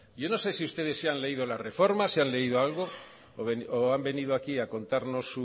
yo no sé si ustedes se han leído la reforma se han leído algo o han venido aquí a contarnos su